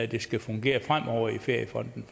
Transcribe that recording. det skal fungere fremover i feriefonden